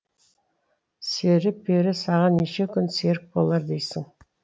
сері пері саған неше күн серік болар дейсің